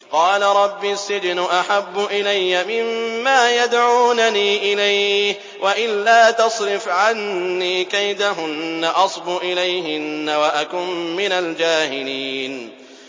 قَالَ رَبِّ السِّجْنُ أَحَبُّ إِلَيَّ مِمَّا يَدْعُونَنِي إِلَيْهِ ۖ وَإِلَّا تَصْرِفْ عَنِّي كَيْدَهُنَّ أَصْبُ إِلَيْهِنَّ وَأَكُن مِّنَ الْجَاهِلِينَ